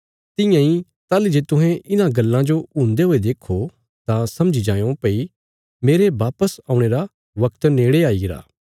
तियां इ ताहली जे तुहें इन्हां गल्लां जो हुन्दे हुये देक्खो तां समझी जायों भई मेरे वापस औणे रा बगत नेड़े आई गरा